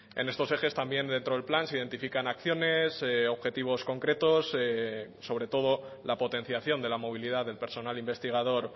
en estos ejes también dentro del plan se identifican acciones objetivos concretos sobre todo la potenciación de la movilidad del personal investigador